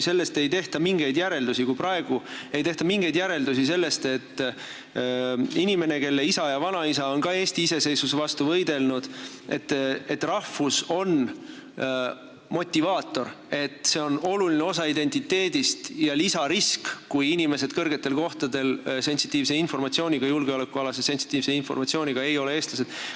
Kui praegu ei tehta mingeid järeldusi sellest, et inimesele, kelle isa ja vanaisa on ka Eesti iseseisvuse vastu võidelnud, on tema rahvus motivaator, oluline osa tema identiteedist, siis inimesed kõrgetel kohtadel julgeolekualase sensitiivse informatsiooniga, kes ei ole eestlased, on lisarisk.